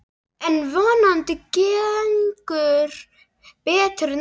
En vonandi gengur betur næst.